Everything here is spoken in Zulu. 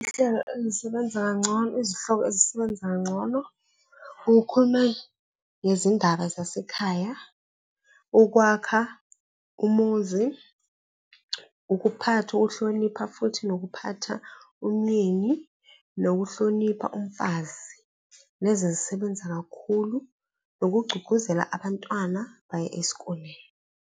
Ihlelo ezisebenza kangcono, izihloko ezisebenza kangcono ukukhuluma ngezindaba zasekhaya, ukwakha umuzi, ukuphatha, ukuhlonipha futhi nokuphatha umyeni, nokuhlonipha umfazi, lezi zisebenza kakhulu nokugqugquzela abantwana baye esikoleni.